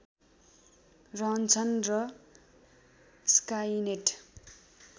रहन्छन् र स्काइनेट